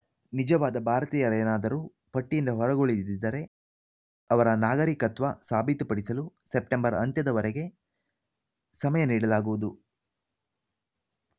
ನಿಜವಾದ ಭಾರತೀಯರೇನಾದರೂ ಪಟ್ಟಿಯಿಂದ ಹೊರಗುಳಿದಿದ್ದರೆ ಅವರ ನಾಗರಿಕತ್ವ ಸಾಬೀತುಪಡಿಸಲು ಸೆಪ್ಟೆಂಬರ್‌ ಅಂತ್ಯದವರೆಗೆ ಸಮಯ ನೀಡಲಾಗುವುದು